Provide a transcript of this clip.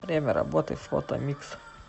время работы фотомикс